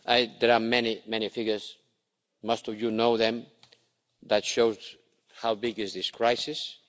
There are many, many figures most of you know them that show how big this crisis is